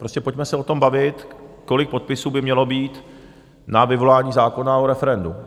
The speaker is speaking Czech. Prostě pojďme se o tom bavit, kolik podpisů by mělo být na vyvolání zákona o referendu.